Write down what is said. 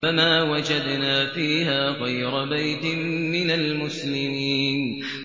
فَمَا وَجَدْنَا فِيهَا غَيْرَ بَيْتٍ مِّنَ الْمُسْلِمِينَ